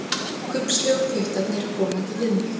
Kubbslegu puttarnir komandi við mig.